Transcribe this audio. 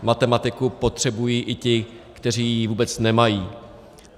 Matematiku potřebují i ti, kteří ji vůbec nemají.